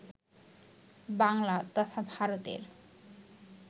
বাংলা তথা ভারতের